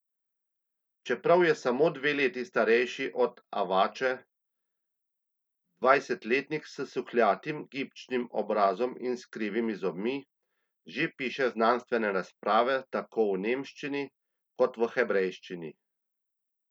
Čeprav je samo dve leti starejši od Avače, dvajsetletnik s suhljatim, gibčnim obrazom in s krivimi zobmi, že piše znanstvene razprave tako v nemščini kot v hebrejščini.